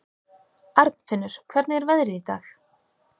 Arnfinnur, hvernig er veðrið í dag?